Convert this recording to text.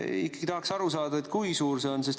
Ikkagi tahaks aru saada, kui suur see on.